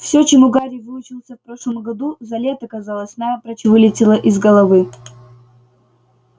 всё чему гарри выучился в прошлом году за лето казалось напрочь вылетело из головы